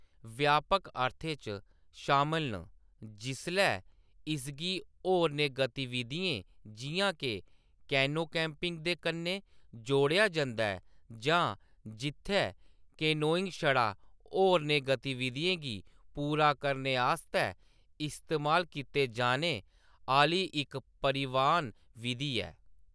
व्यापक अर्थें च शामल न जिसलै इसगी होरनें गतिविधियें जिʼयां के कैनो कैंपिंग दे कन्नै जोड़ेआ जंदा ऐ, जां जित्थै कैनोइंग छड़ा होरनें गतिविधियें गी पूरा करने आस्तै इस्तेमाल कीते जाने आह्‌‌‌ली इक परिवहन बिधि ऐ।